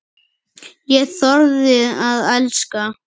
Ég þorði að elska.